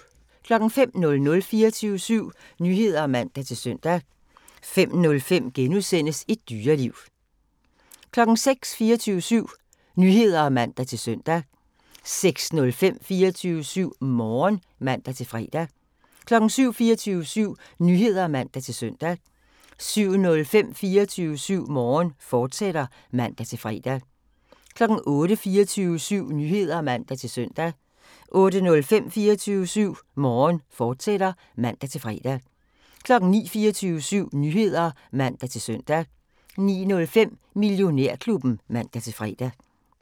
05:00: 24syv Nyheder (man-søn) 05:05: Et Dyreliv * 06:00: 24syv Nyheder (man-søn) 06:05: 24syv Morgen (man-fre) 07:00: 24syv Nyheder (man-søn) 07:05: 24syv Morgen, fortsat (man-fre) 08:00: 24syv Nyheder (man-søn) 08:05: 24syv Morgen, fortsat (man-fre) 09:00: 24syv Nyheder (man-søn) 09:05: Millionærklubben (man-fre)